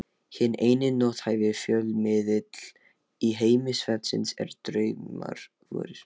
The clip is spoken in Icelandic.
Hinn eini nothæfi fjölmiðill í heimi svefnsins eru draumar vorir.